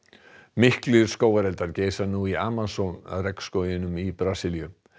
miklir skógareldar geisa nú í Amazon í Brasilíu